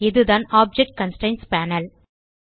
இதுதான் object constraints panel